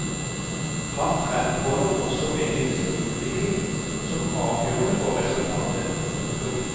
Han fremholder også medienes utvikling som avgjørende for resultatet. punktum